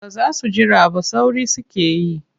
Ba za su jira ba sauri suke yi.